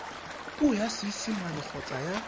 puo ya seesimane kgotsa ya